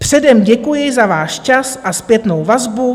Předem děkuji za váš čas a zpětnou vazbu.